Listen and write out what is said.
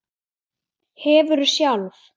Hefurðu sjálf?